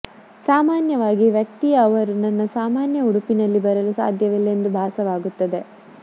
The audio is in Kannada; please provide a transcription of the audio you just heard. ಸಾಮಾನ್ಯವಾಗಿ ವ್ಯಕ್ತಿಯ ಅವರು ನನ್ನ ಸಾಮಾನ್ಯ ಉಡುಪಿನಲ್ಲಿ ಬರಲು ಸಾಧ್ಯವಿಲ್ಲ ಎಂದು ಭಾಸವಾಗುತ್ತದೆ